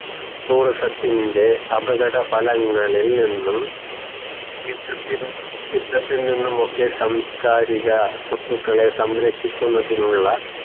tourism ത്തിൻറെ അപകട ഫലങ്ങളിൽ നിന്നും യുദ്ധത്തിൽ നിന്നുമൊക്കെ സാംസ്കാരിക സ്വത്തുക്കളെ സംരക്ഷിക്കുന്നതിനുള്ള